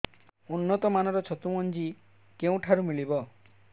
ଉନ୍ନତ ମାନର ଛତୁ ମଞ୍ଜି କେଉଁ ଠାରୁ ମିଳିବ